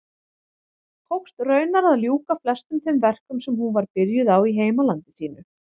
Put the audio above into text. Tókst raunar að ljúka flestum þeim verkum sem hún var byrjuð á í heimalandi sínu.